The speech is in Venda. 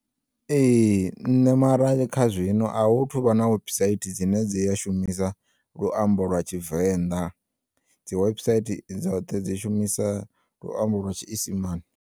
Ee, nṋe mara kha zwino a hu thuvha na websaithi dzine dzi ya shumisa luambo lwa tshivenḓa, dzi websaithi dzoṱhe dzi shumisa luambo lwa tshiisimane.